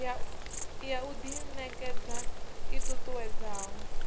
ya u ḓiṋekedza i ṱuṱuwedzaho